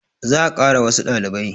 Za a kara wassu ɗalibai